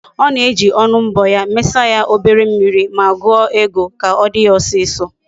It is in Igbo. Ona eji onu mbo ya, mesa ya obere mmiri, ma guo ego, ka odi ya osiso